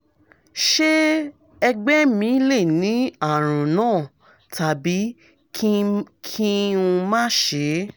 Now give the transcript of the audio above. ṣé ẹ̀gbẹ́ mi lè ní àrùn náà tàbí kí n má ṣe